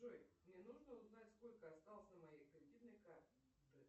джой мне нужно узнать сколько осталось на моей кредитной карте